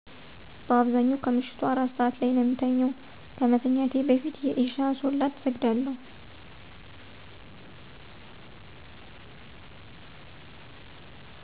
በአብዛኛው ከምሸቱ 4 ሰዐት ላይ ነው የምተኛው። ከመተኛቴ በፊት የኢሻ ሶላት እሰግዳለሁ።